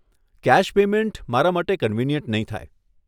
Cache payment મારા માટે convenient નહીં થાય.